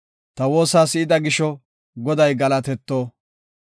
Ta woosa si7ida gisho Goday galatetto.